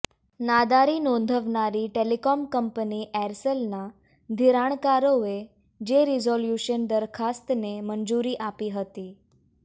નાદારી નોંધાવનારી telecom company એરસેલના ધિરાણકારોએ જે રિઝોલ્યુશન દરખાસ્તને મંજૂરી આપી હતી